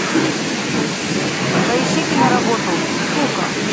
поищи киноработу кука